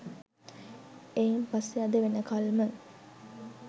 එයින් පස්සේ අද වෙනකල්ම